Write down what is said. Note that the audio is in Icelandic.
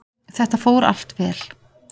Þetta fór allt vel.